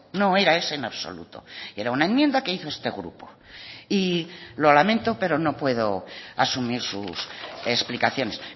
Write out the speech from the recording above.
no era ese en absoluto era una enmienda que hizo este grupo y lo lamento pero no puedo asumir sus explicaciones